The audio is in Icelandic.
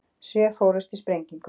Sjö fórust í sprengingu